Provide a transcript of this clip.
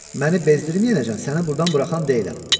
Məni bezdirməyənəcən səni burdan buraxan deyiləm.